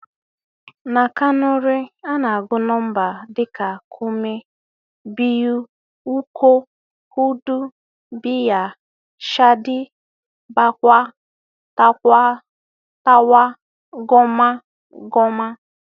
. Na Kanuri, a na-agụ nọmba dị ka kúrmi, biyu, ukku, hudú, biyar, shída, bákwai, tákwas, tárwa, góma, góma